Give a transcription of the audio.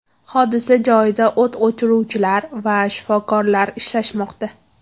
Hodisa joyida o‘t o‘chiruvchilar va shifokorlar ishlamoqda.